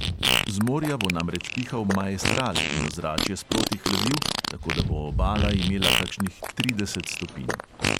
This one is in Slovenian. Z morja bo namreč pihal maestral in ozračje sproti hladil, tako da bo obala imela kakšnih trideset stopinj.